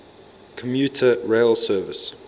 commuter rail service